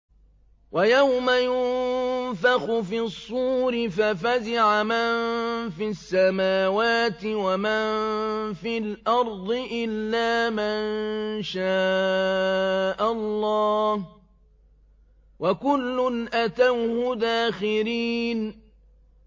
وَيَوْمَ يُنفَخُ فِي الصُّورِ فَفَزِعَ مَن فِي السَّمَاوَاتِ وَمَن فِي الْأَرْضِ إِلَّا مَن شَاءَ اللَّهُ ۚ وَكُلٌّ أَتَوْهُ دَاخِرِينَ